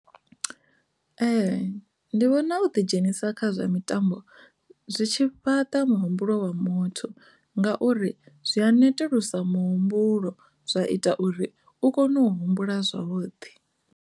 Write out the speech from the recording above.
Ee, ndi vhona u ḓi dzhenisa khazwo mitambo zwitshili fhaṱa muhumbuloni wa muthu ngauri zwi a netulusa muhumbulo zwa ita uri u kone u humbula zwavhuḓi.